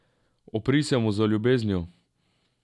Upri se mu z ljubeznijo.